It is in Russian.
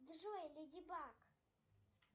джой леди баг